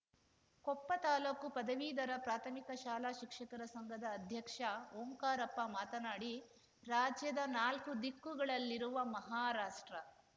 ಕೊಪ್ಪ ತಾಲೂಕು ಪದವೀಧರ ಪ್ರಾಥಮಿಕ ಶಾಲಾ ಶಿಕ್ಷಕರ ಸಂಘದ ಅಧ್ಯಕ್ಷ ಓಂಕಾರಪ್ಪ ಮಾತನಾಡಿ ರಾಜ್ಯದ ನಾಲ್ಕು ದಿಕ್ಕುಗಳಲ್ಲಿರುವ ಮಹಾರಾಷ್ಟ